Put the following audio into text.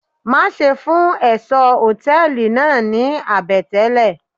Má ṣe fún ẹ̀ṣọ́ Hòtẹ́lìì náà ní àbẹ̀tẹ́lè.